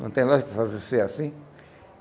Não tem lógica para fazer ser assim.